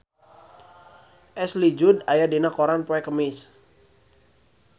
Ashley Judd aya dina koran poe Kemis